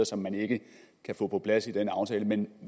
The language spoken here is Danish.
som man ikke kan få på plads i den aftale men